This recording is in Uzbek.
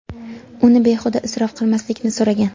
uni behuda isrof qilmaslikni so‘ragan.